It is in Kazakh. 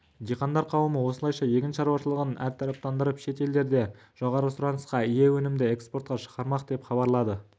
диқандар қауымы осылайша егін шаруашылығын әртараптандырып шет елдерде жоғары сұранысқа ие өнімді экспортқа шығармақ деп хабарлады